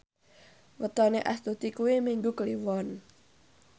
wetone Astuti kuwi Minggu Kliwon